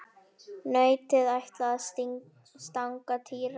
Nautið ætlaði að stanga Týra.